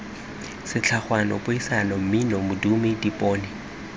setlhogwana puisano mmino modumo dipone